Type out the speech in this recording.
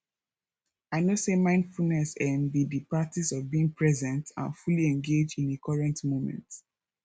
i know say mindfulness um be di practice of being present and fully engaged in a current moment